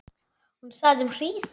Hún þagði um hríð.